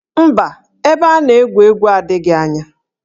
Mba, ebe a na-egwu egwu adịghị anya